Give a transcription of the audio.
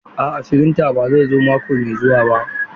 A'a firinta ba zai zo mako mai zuwa ba.